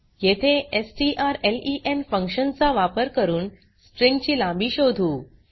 येथे strlen function चा वापर करून स्ट्रिँग ची लांबी शोधू